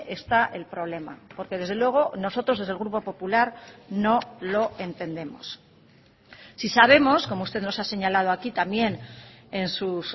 está el problema porque desde luego nosotros desde el grupo popular no lo entendemos sí sabemos como usted nos ha señalado aquí también en sus